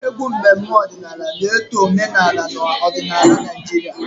Egwu mmemme ọdịnala na-eto omenala na odinaala Naijiria.